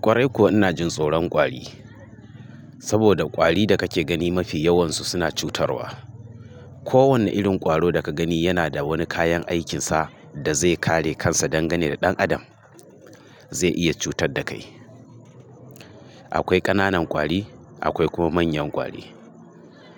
Ƙwarai kuwa ina jin tsoron ƙwari, saboda wari da kake gani mafi yawansu suna cutarwa. Ko wanne irin ƙwaro da ka gani yana da wani kayan aikinsa da zai kare kansa dangane da ɗan adam zai iya cutar da kai. Akwai ƙananan ƙwari akwai kuma manyan kwari.